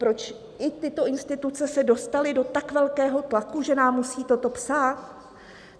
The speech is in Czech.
Proč i tyto instituce se dostaly do tak velkého tlaku, že nám musí toto psát?